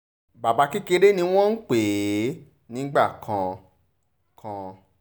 bàbá kékeré ni wọ́n ń pè é nígbà kan kan